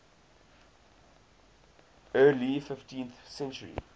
early fifteenth century